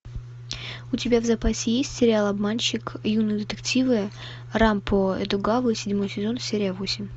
у тебя в запасе есть сериал обманщик юные детективы рампо эдогавы седьмой сезон серия восемь